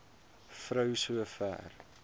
vrou so ver